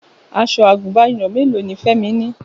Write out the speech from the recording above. Aṣọ àgùnbánirọ̀ mélòó ni Fẹ́mi ni?